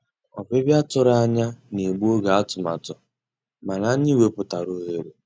Ọ́bị́bịá tụ̀rụ̀ ànyá ná-ègbu ògé àtụ̀màtụ́, mànà ànyị́ wepụ́tárá òghéré.